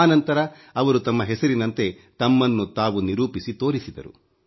ಆ ನಂತರ ಅವರು ತಮ್ಮ ಹೆಸರಿನಂತೆ ತಮ್ಮನ್ನು ತಾವು ನಿರೂಪಿಸಿ ತೋರಿಸಿದರು